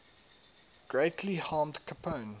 greatly harmed capone